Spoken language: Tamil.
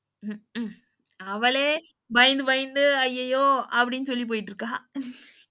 உம்ம்கும் அவளே பயந்து பயந்து அயய்யோ அப்படின்னு சொல்லி போய்ட்டுருக்கா